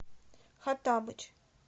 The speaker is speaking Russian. хоттабыч